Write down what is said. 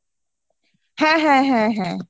হ্যাঁ হ্যাঁ হ্যাঁ হ্যাঁ